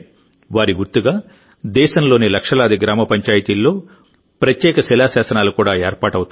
వారి గుర్తుగా దేశంలోని లక్షలాది గ్రామ పంచాయతీల్లో ప్రత్యేక శిలా శాసనాలు కూడా ఏర్పాటవుతాయి